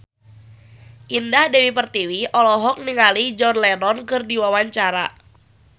Indah Dewi Pertiwi olohok ningali John Lennon keur diwawancara